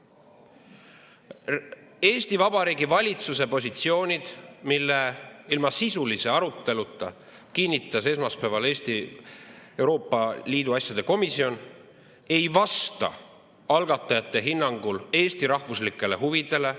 Eesti Vabariigi valitsuse positsioonid, mille ilma sisulise aruteluta kinnitas esmaspäeval Eesti Euroopa Liidu asjade komisjon, ei vasta algatajate hinnangul Eesti rahvuslikele huvidele.